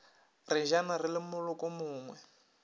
re jana re le molokomongwe